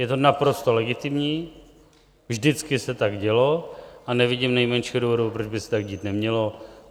Je to naprosto legitimní, vždycky se tak dělo a nevidím nejmenšího důvodu, proč by se tak dít nemělo.